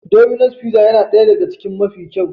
Domino's fizza yana ɗaya ɗaga cikin mafi kyau.